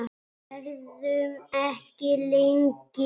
Verðum ekki lengi.